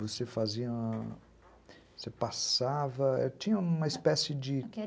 Você fazia... Você passava... Tinha uma espécie de... O que?